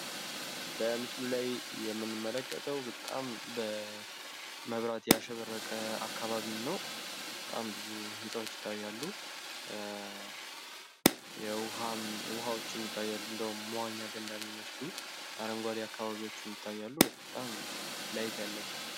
በምስሉ ላይ የምንመለከተው በጣም በመብራት ያሸበረቀ አከባቢን ነው ፤ በጣም ብዙ ህንጻዎች ይታያሉ ፤ ዉሃዎችም ይታያሉ እንደዉም መዋኛ ገንዳ የሚመስሉ ፤ አረንጓዴ አከባቢዎችም ይታያሉ በጣም ላይት ያለበት ነው።